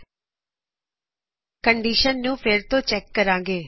ਅਸੀ ਫਿਰ ਤੋ ਕੰਡੀਸ਼ਨ ਨੂੰ ਚੈੱਕ ਕਰਾਗੇ